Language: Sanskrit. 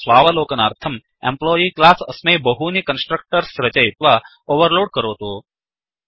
स्वावलोकनार्थम् एम्प्लॉयी क्लास् अस्मै बहूनि कन्स्ट्रक्टर्स् रचयित्वा ओवर्लोड् करोतु